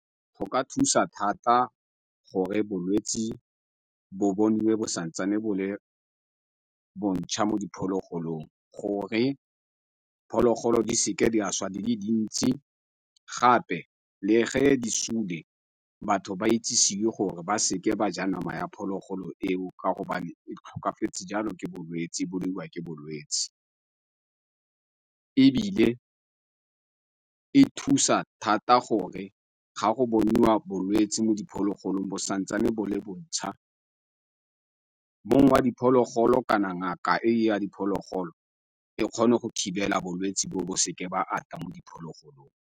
Go ka thusa thata gore bolwetsi bo boniwe bo santsane bo le bontšha mo diphologolong gore phologolo di seke di a šwa di le dintsi, gape le ge di sule, batho ba itsisiwe gore ba seke ba ja nama ya phologolo eo ka gobane e tlhokafetse jalo ke bolwetsi, e bolaiwa ke bolwetsi. Ebile e thusa thata gore ga go boniwa bolwetsi mo diphologolong bo santsane bo le bontšha mongwe wa diphologolo kana ngaka e ya diphologolo e kgone go thibela bolwetsi bo bo seke ba ata mo diphologolong.